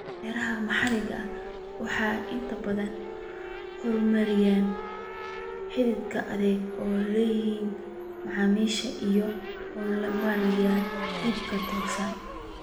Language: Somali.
Beeraha maxalliga ahi waxay inta badan horumariyaan xidhiidh adag oo ay la leeyihiin macaamiisha iyada oo loo marayo iibka tooska ah.